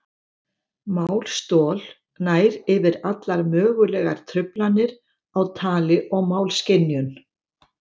Málstol nær yfir allar mögulegar truflanir á tali og málskynjun.